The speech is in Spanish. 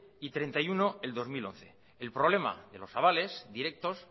y treinta y uno el dos mil once el problema de los avales directos